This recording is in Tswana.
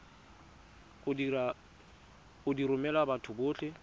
go di romela batho botlhe